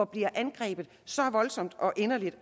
bliver angrebet så voldsomt og inderligt af